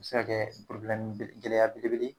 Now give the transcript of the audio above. O be se ka kɛ gɛlɛya belebele